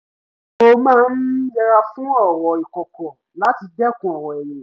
mo máa ń yẹra fún ọ̀rọ̀ ìkọ̀kọ̀ láti dẹ́kun ọ̀rọ̀ ẹ̀yìn